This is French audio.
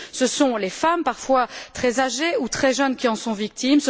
Ce sont les femmes, parfois très âgées ou très jeunes, qui en sont victimes.